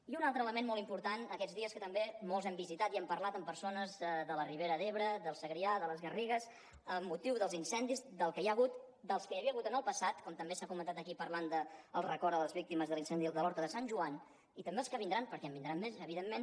i un altre element molt important aquests dies en què també molts hem visitat i hem parlat amb persones de la ribera d’ebre del segrià de les garrigues amb motiu dels incendis del que hi ha hagut dels que hi havia hagut en el passat com també s’ha comentat aquí parlant del record a les víctimes de l’incendi de l’horta de sant joan i també els que vindran perquè en vindran més evidentment